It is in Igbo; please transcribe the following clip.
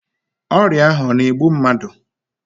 Ọrịa ahụ ọ na-egbu mmadụ?